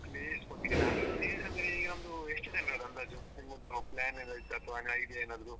Place ಬಗ್ಗೆನಾ place ಅಂದ್ರೆ ಈಗ ನಮ್ದು ಎಷ್ಟು ಜನ್ರದ್ದು ಅಂದಾಜು plan ಎಲ್ಲ ಇದ್ದದ್ದು idea ಏನಾದ್ರು.